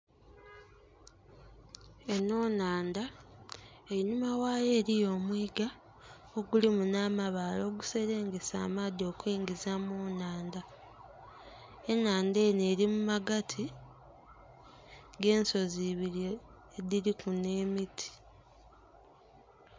Enho nhandha einhuma ghaayo eriyo omuiga ogulimu nhamabaale oguselengesa amaadhi okuingiza mu nhandha. Enhandha eno eri mumagatu g'ensozi ebiri edhiriku nh'emiti.